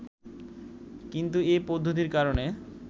কিন্তু এ পদ্ধতির কারণে